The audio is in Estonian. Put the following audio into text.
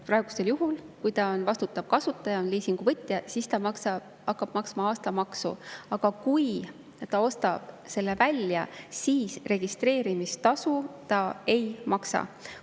Praegusel juhul, kui vastutav kasutaja on liisinguvõtja, siis ta hakkab maksma aastamaksu, aga kui ta ostab auto välja, siis registreerimistasu ta ei maksa.